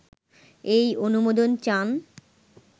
এই অনুমোদন চান